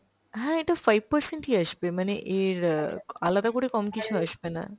হ্যাঁ এটা five percent ই আসবে, মানে এর অ্যাঁ আলাদা করে কম কিছু আসবে না।